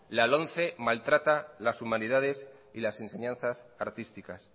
la lomce maltrata las humanidades y las enseñanzas artísticas